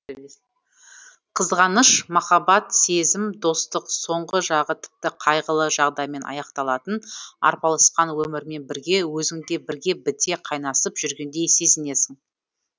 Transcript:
қызғаныш махаббат сезім достық соңғы жағы тіпті қайғылы жағдаймен аяқталатын арпалысқан өмірмен бірге өзіңде бірге біте қайнасып жүргендей сезінесің